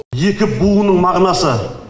екі буынның мағынасы